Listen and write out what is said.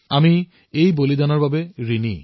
আমি এই কাৰ্যৰ প্ৰতি ঋণী